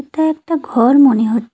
এটা একটা ঘর মনে হ--